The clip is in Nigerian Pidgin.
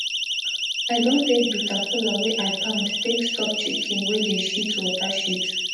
i don take bitter kola wey i pound take stop chicken wey dey shit water shit